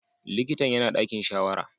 Likitan yana ɗakin shawara.